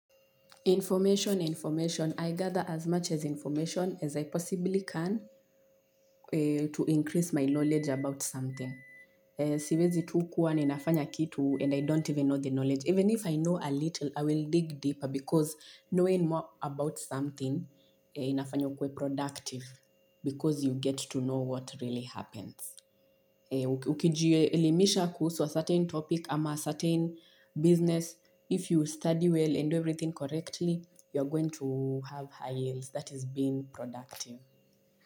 Information, information. I gather as much as information as I possibly can to increase my knowledge about something. Siwezi tu kuwa ni nafanya kitu and I don't even know the knowledge. Even if I know a little, I will dig deeper because knowing more about something inafanya ukwe productive because you get to know what really happens. Ukiji elimisha kuhusu a certain topic ama a certain business. If you study well and do everything correctly you are going to have high yields that is being productive.